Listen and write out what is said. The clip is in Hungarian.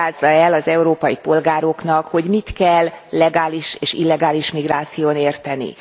Magyarázza el az európai polgároknak, hogy mit kell legális és illegális migráción érteni.